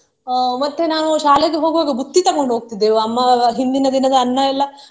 ಅಹ್ ಮತ್ತೆ ನಾವು ಶಾಲೆಗೆ ಹೋಗುವಾಗ ಬುತ್ತಿ ತಗೊಂಡು ಹೋಗ್ತಿದ್ದೆವು ಅಮ್ಮ ಹಿಂದಿನ ದಿನದ ಅನ್ನ ಎಲ್ಲಾ.